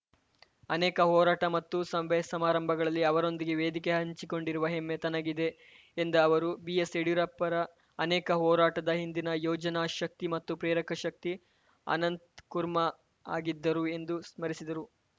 ಅನೇಕ ಹೋರಾಟ ಮತ್ತು ಸಭೆಸಮಾರಂಭಗಳಲ್ಲಿ ಅವರೊಂದಿಗೆ ವೇದಿಕೆ ಹಂಚಿಕೊಂಡಿರುವ ಹೆಮ್ಮೆ ತನಗಿದೆ ಎಂದ ಅವರು ಬಿಎಸ್‌ಯಡಿಯೂರಪ್ಪರ ಅನೇಕ ಹೋರಾಟದ ಹಿಂದಿನ ಯೋಜನಾ ಶಕ್ತಿ ಮತ್ತು ಪ್ರೇರಕ ಶಕ್ತಿ ಅನಂತ್‌ ಕುರ್ಮಾ ಆಗಿದ್ದರು ಎಂದು ಸ್ಮರಿಸಿದರು